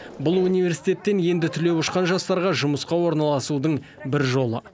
бұл университеттен енді түлеп ұшқан жастарға жұмысқа орналасудың бір жолы